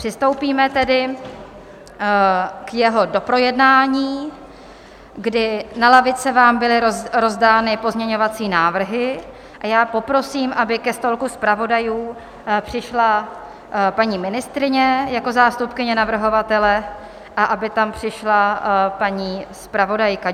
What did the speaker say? Přistoupíme tedy k jeho doprojednání, kdy na lavice vám byly rozdány pozměňovací návrhy, a já poprosím, aby ke stolku zpravodajů přišla paní ministryně jako zástupkyně navrhovatele a aby tam přišla paní zpravodajka.